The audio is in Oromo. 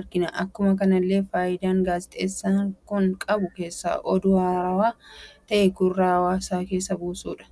argina. Akkuma kanallee faayidaan gaazixeessan kun qabu keessa oduu haarawaa ta'ee gurraa hawaasa keessa buusudha.